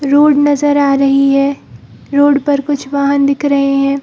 Road नजर आ रही है रोड पर कुछ वाहन दिख रहें हैं।